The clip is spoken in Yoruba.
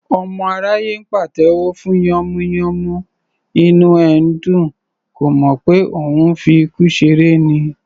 Ọmọ aráyé ńpàtẹ́wọ́ fún yànmùyánmú, inú ẹ̀ ńdùn; kò mọ̀ pé òun ńfi ikú ṣeré ni